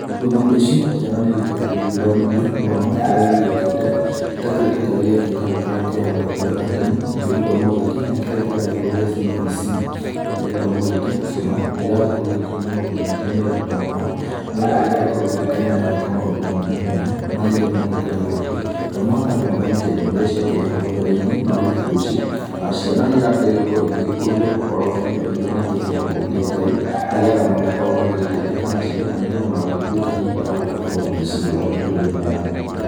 Rĩu thikũ ici ciana nĩ igĩkoretwo igĩgĩthomithio gĩthomo kĩrĩa gĩgĩũkĩte gĩtakĩrĩ ta kĩrĩa kĩarĩ kĩa hau gatene. Nakĩo gĩthomo gĩkĩ nĩ kĩrĩa kĩragĩtwo gĩa CBC, nakĩo gĩthomo gĩkĩ ciana nĩ iragĩkorwo igĩkĩonio maũndũ maingĩ nĩ arutani ao. Nĩ getha igagĩkorwo igĩkĩmenya gwĩka maũndũ mwanya mwanya, marĩa rĩu magĩkoretwo atĩ to mũhaka andũ mathome ta ithomo iria ciakĩrĩ hau gabere-inĩ no rĩu thikũ ici ciana nĩ irakĩgeria gũkũrio ũhoro wa iheo iria makĩhetwo nĩ Ngai. Nĩ getha makorwo magĩgĩteithĩka nacio na nĩ getha magagĩtuĩka hihi a gũcirĩra mĩtũrĩre-inĩ yao ya thutha.